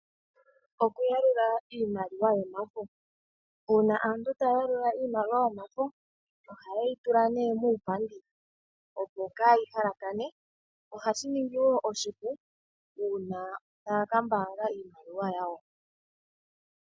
Okuyalula iimaliwa yomafo. Uuna aantu taya yalula iimaliwa yomafo ohaye yi tula nee muupandi opo kaayi halakane. Ohashi ningi woo oshipu uuna taya kambaanga iimaliwa yawo.